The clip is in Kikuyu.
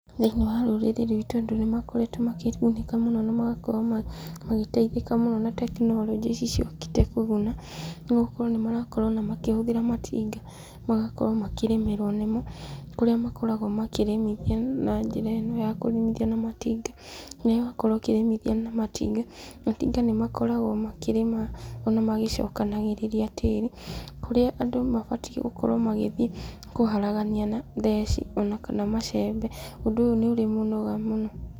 ThĩinIĩ wa rũrĩrĩ rwitũ andũ nĩmakoretwo makĩgunĩka mũno na magakorwo magĩteithĩka mũno na tekinoronjĩ ici ciũkĩte kũguna, nĩgũkorwo nĩ marakorwo ona makĩhũthĩra matinga, magakorwo makĩrĩmĩrwo nĩ mo, kũrĩa makoragwo makĩrĩmithia na njĩra ĩno ya kũrĩmithia na matinga, na rĩrĩa wakorwo ũkĩrĩmithia na matinga, matinga nĩ makoragwo makĩrĩma ona magĩcokanagĩrĩria tĩri, kũrĩa andũ mabatiĩ gũkorwo magĩthiĩ kũharagania na theci ona kana macembe, ũndũ ũyũ nĩ ũrĩ mĩnoga mũno.